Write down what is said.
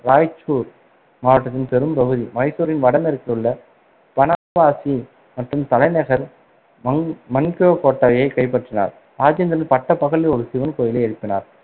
ராய்ச்சூர் மாவட்டத்தின் பெரும் பகுதி, மைசூரின் வடமேற்கிலுள்ள பனவாசி மற்றும் தலைநகர் மன்~ மன்கவ்காட்டாவை கைப்பற்றினார். ராஜேந்திரன் பட்டபகலில் ஒரு சிவன் கோயிலை எழுப்பினார்